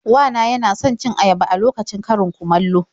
Wa na yana son cin ayaba a lokacin karin-kumallo.